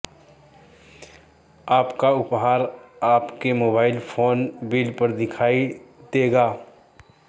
आपका उपहार आपके मोबाइल फोन बिल पर दिखाई देगा